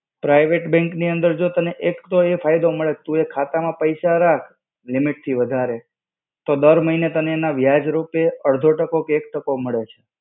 Private bank ની અંદર તો જો તને એક તો એ ફાયદો મળે, કે ખાતા માં પૈસા રાખ limit થી વધારે તો દર મહિને તને એના વ્યાજ રૂપે અડધો ટકો કે એક ટકો મળે છે.